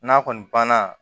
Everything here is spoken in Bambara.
N'a kɔni banna